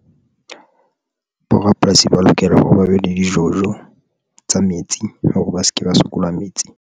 Bo rapolasi ba lokela hore ba be le di-jojo tsa metsi, hore ba se ke ba sokola metsi.